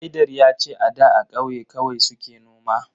Haidar ya ce a da a kauye kawai suke noma